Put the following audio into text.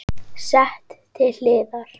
Sett til hliðar.